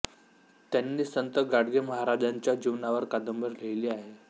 त्यांनी संत गाडगे महाराजांच्या जीवनावर कादंबरी लिहिली आहे